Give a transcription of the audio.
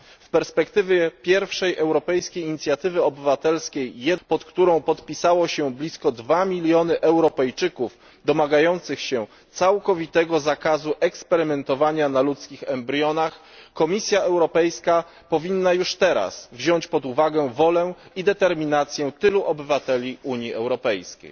W perspektywie pierwszej europejskiej inicjatywy obywatelskiej pod którą podpisało się blisko 2 mln Europejczyków domagających się całkowitego zakazu eksperymentowania na ludzkich embrionach, Komisja Europejska powinna już teraz wziąć pod uwagę wolę i determinację tylu obywateli Unii Europejskiej.